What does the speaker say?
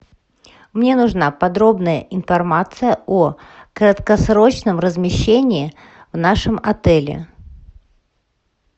мне нужна подробная информация о краткосрочном размещении в нашем отеле